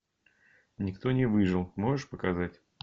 никто не выжил можешь показать